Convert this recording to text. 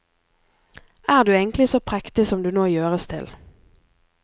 Er du egentlig så prektig som du nå gjøres til?